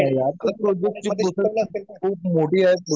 नाही ना यार. गव्हर्मेंटची प्रोसेस खूप मोठी आहे.